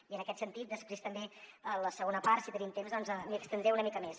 i en aquest sentit després també en la segona part si tenim temps doncs m’hi estendré una mica més